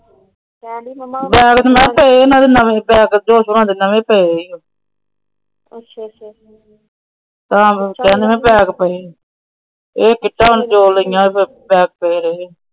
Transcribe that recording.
Bag ਨਾ ਇਹਨਾਂ ਦੇ ਘਰੇ ਨਵੇਂ ਪਏ। ਇਹ ਕਿੱਟਾ ਹੁਣ ਦੋ ਲਾਇਆਂ ਸੂ।